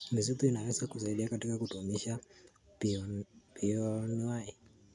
Misitu inaweza kusaidia katika kudumisha bioanuwai.